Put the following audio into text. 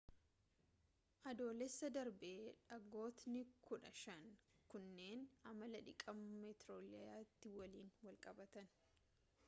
adoolessa darbe dhagootni kudha shan kunneen amala dhiqama meeteorayitii waliin wal qabatan